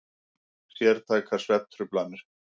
Sértækar svefntruflanir.